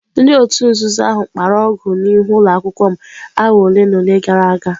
Ndị òtù nzuzo ahụ kpara ọgụ n'ihu ụlọ akwụkwọ m awa ole na ole gara aga.